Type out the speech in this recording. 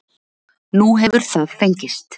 Nú hefur það fengist